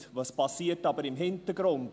Was passiert aber im Hintergrund?